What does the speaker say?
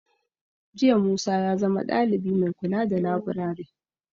Jiya Musa ya zama dalibi mai kula da laburare.